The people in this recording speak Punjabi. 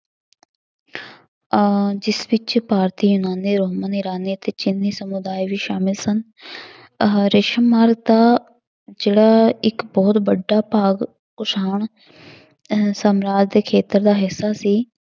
ਅਹ ਜਿਸ ਵਿੱਚ ਭਾਰਤੀ ਤੇ ਚੀਨੀ ਸਮੁਦਾਇ ਵੀ ਸਾਮਲ ਸਨ ਅਹ ਦਾ ਜਿਹੜਾ ਇੱਕ ਬਹੁਤ ਵੱਡਾ ਭਾਗ ਕੁਸ਼ਾਣ ਅਹ ਸਮਰਾਜ ਦੇ ਖੇਤਰ ਦਾ ਹਿੱਸਾ ਸੀ,